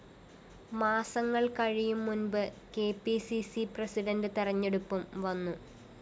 മാസങ്ങള്‍ കഴിയുംമുന്‍പ് K P C C president തെരഞ്ഞെടുപ്പും വന്നു